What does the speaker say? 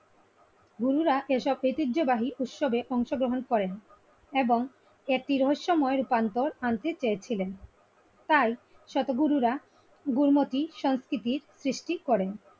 গুরুরাএসবঐতিহ্যবাহী উৎসবের অংশগ্রহণ করেন এবং একটি রহস্যময় রূপান্তর আনতে চেয়েছিলেন। তাই শত গুরুরা গুড়ুমতি সংস্কৃতির সৃষ্টি করেন ।